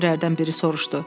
müxbirlərdən biri soruşdu.